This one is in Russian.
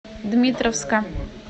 дмитровска